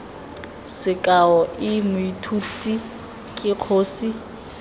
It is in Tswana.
sekao i mothusi ke kgosi